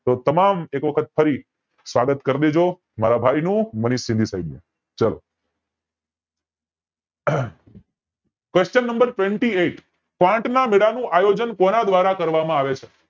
તો તમામ એક વખત ફરી સ્વાગત કરી દેજો મારા ભાઈ નું મનીષ સિદી સાઇબ નું ચલો હમ question number twenty eghit પાંચમા આયોજન કોના દ્વારા કરવામાં આવે છે